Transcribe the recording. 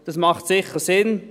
Das macht sicher Sinn.